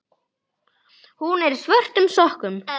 Hún er í svörtum sokkum.